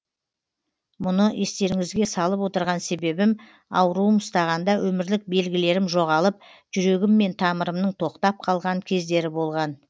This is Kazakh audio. мұны естеріңізге салып отырған себебім ауруым ұстағанда өмірлік белгілерім жоғалып жүрегім мен тамырымның тоқтап қалған кездері болған